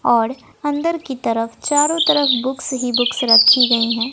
और अंदर की तरफ चारों तरफ बुक्स ही बुक्स रखी गई हैं।